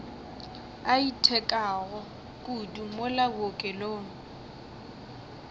a itekago kudu mola bookelong